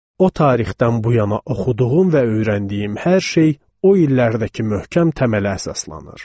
O tarixdən bu yana oxuduğum və öyrəndiyim hər şey o illərdəki möhkəm təmələ əsaslanır.